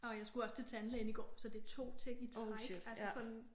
Og jeg skulle også til tandlægen i går så det 2 ting i træk altså sådan